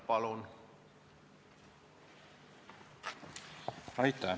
Palun!